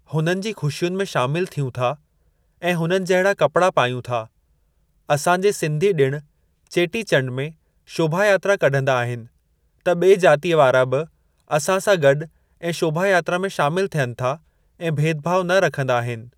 हुननि जी ख़ुशियुनि में शामिल थियूं था ऐं हुननि जहिड़ा कपड़ा पायूं था। असां जे सिंधी ॾिण चेटी चंड में शोभा यात्रा कढंदा आहिनि त ॿे जातीय वारा बि असां सां गॾु ऐं शोभा यात्रा में शामिल थियनि था ऐं भेदभाव न रखंदा आहिनि।